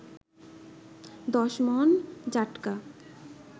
১০ মন জাটকা